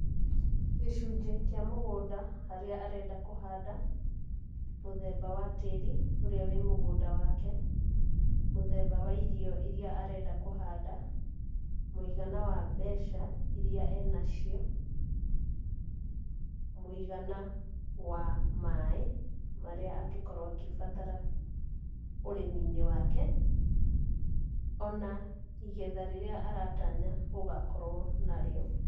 Gῖcunjiῖ kῖa mῦgῦnda haria arenda kῦhanda, mῦthemba wa tῖri ῦria wῖ mῦgῦnda wake, mῦthemba wa irio iria arenda kῦhanda, mῦigana wa mbeca iria e nacio, mῦigana wa maaῖ maria angῖkorwo agῖbatara ῦrῖminῖ wake, ona igetha rῖrῖa aratanya gῦgakorwo narῖo.